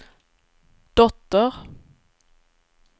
dotter